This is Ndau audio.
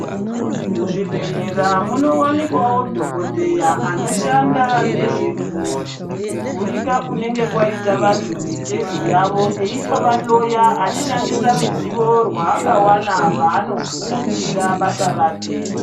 Mu zvibhedhlera muno wanikwawo dhokodheya anoshanda nezveku gurika kunenge kwaita vantu mitezo yavo eito vahloya achishandisa ruzivo rwaaka wana paano fundira basa rake.